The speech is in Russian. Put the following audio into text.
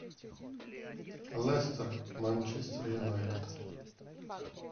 лестер манчестер юнайтед